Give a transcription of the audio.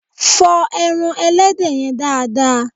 Fọ ẹran Ẹlẹ́dẹ̀ yẹn dáa dáa!